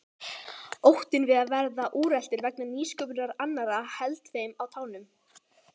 Óttinn við að verða úreltur vegna nýsköpunar annarra héldi þeim á tánum.